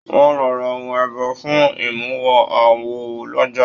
Wọn lọ rà ohùn ẹbọ fún imuwọ̀ awo l'ọja.